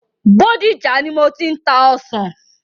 Bódìjà ni mo ti ń ta ọsàn.